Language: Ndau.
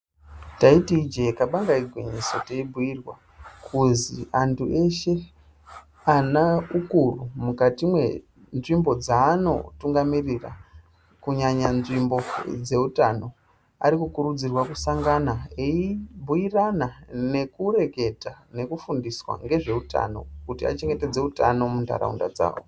Taiti ijee kabanga igwinyiso teibhuirwa kuzwi antu eshe ana ukuru mukati mwenzvimbo dzanotungamirira kunyanya nzvimbo dzeutano ari kukurudzirwa kusangana eibhuirana nekureketa nekufundiswa ngezveutano kuti achengetedze utano muntaraunda dzavo.